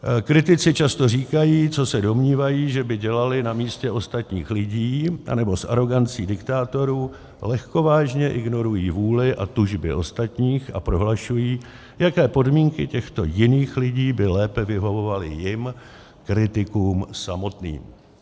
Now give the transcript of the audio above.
Kritici často říkají, co se domnívají, co by dělali na místě ostatních lidí, nebo s arogancí diktátorů lehkovážně ignorují vůli a tužby ostatních a prohlašují, jaké podmínky těchto jiných lidí by lépe vyhovovaly jim, kritikům samotným.